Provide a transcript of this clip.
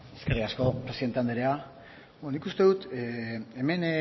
eskerrik asko presidente anderea beno nik uste dut hemen